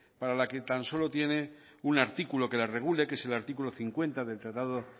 para la que tan solo tiene un artículo que la regule que es el artículo cincuenta del tratado